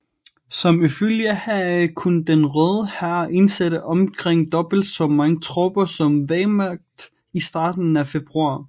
Som følge heraf kunne den Røde Hær indsætte omkring dobbelt så mange tropper som Wehrmacht i starten af februar